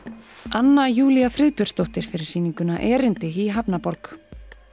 anna Júlía Friðbjörnsdóttir fyrir sýninguna erindi í hafnarborg